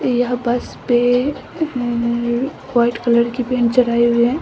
यह बस पे अअं व्हाइट कलर पेंट चढ़ाई हुई है।